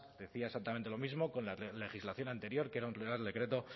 decía exactamente lo mismo con la legislación anterior que era un real decreto